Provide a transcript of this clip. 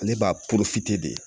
Ale b'a de